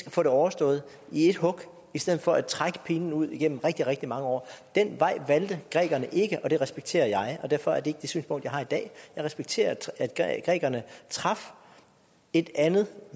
at få det overstået i ét hug i stedet for at trække pinen ud igennem rigtig rigtig mange år den vej valgte grækerne ikke og det respekterer jeg og derfor er det ikke det synspunkt jeg har i dag jeg respekterer at grækerne traf et andet